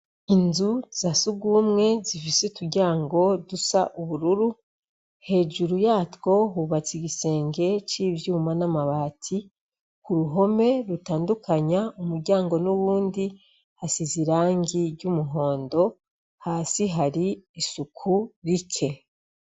Inzu za sugumwe zifise uturyango dusa ubururu. Hejuru yatwo hubatse igisenge c'ivyuma n'amabati. Ku ruhome rutandukanya umuryango n'uyundi hasize irangi ry'umuhondo. Hasi hari isuku rike.